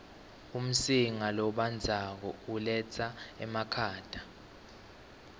umsinga lobandzako uletsa emakhata